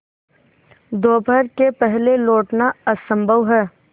दोपहर के पहले लौटना असंभव है